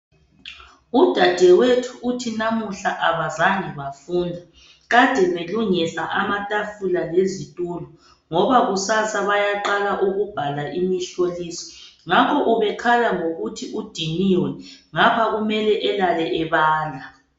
Udadewethu uthi namuhla abazange bafunda kade belungisa amatafula lezithulo ngoba kusasa bayaqala ukubhala imihloliso ngakho ubekhala ngokuthi udiniwe ngapha kumele elale ebala.